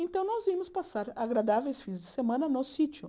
Então, nós íamos passar agradáveis fins de semana no sítio.